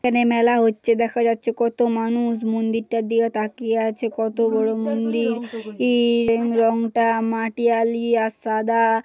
এখানে মেলা হচ্ছে দেখা যাচ্ছে কত মানুষ মন্দিরটা দিয়ে তাকিয়ে আছে কত বড় মন্দির ইইই--মন্দির রংটা মাটিয়ালি আর সাদা।